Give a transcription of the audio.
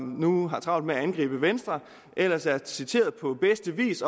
nu har travlt med at angribe venstre ellers er citeret på bedste vis